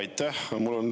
Aitäh!